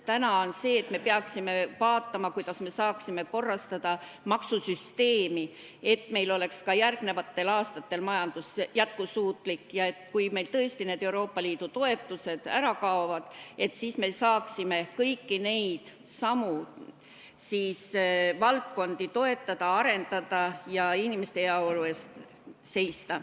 Praegu me peaksime vaatama, kuidas me saaksime korrastada maksusüsteemi, et meie majandus oleks ka järgmistel aastatel jätkusuutlik ja et me siis, kui meil tõesti Euroopa Liidu toetused ära kaovad, saaksime kõiki samu valdkondi toetada, arendada ja inimeste heaolu eest seista.